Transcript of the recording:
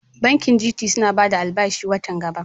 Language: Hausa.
Bankin GT suna bada bashin albashin wata gaba.